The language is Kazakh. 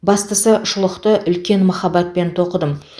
бастысы шұлықты үлкен махаббатпен тоқыдым